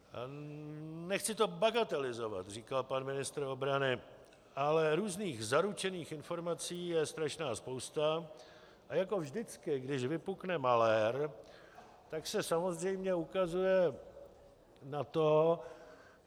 Nechci to bagatelizovat, říkal pan ministr obrany, ale různých zaručených informací je strašná spousta a jako vždycky, když vypukne malér, tak se samozřejmě ukazuje na toho...